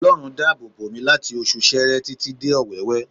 Ọlọ́run dá àbò bòmí láti oṣù Seere títí dé Ọwẹ́wẹ